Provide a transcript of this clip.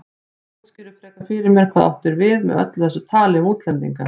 Útskýrðu frekar fyrir mér hvað þú áttir við með öllu þessu tali um útlendinga.